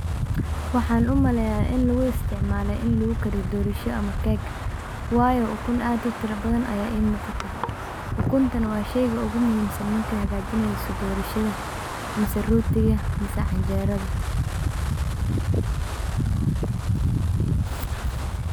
Waxaan u maleeya in lagu istcmaalo in lagu kariyo dorsha ama cake wayo ukun aad u tirabadan aya ii muqata. Ukuntan waa shayga ogu muhiimsan marka hagajineyso dorshaha mise rotiga mise canjeerada.